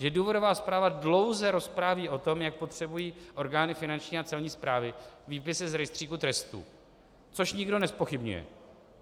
Že důvodová zpráva dlouze rozpráví o tom, jak potřebují orgány Finanční a Celní správy výpisy z rejstříku trestů, což nikdo nezpochybňuje.